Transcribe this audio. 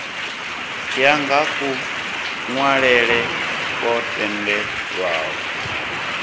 ya nga kunwalele kwo tendelwaho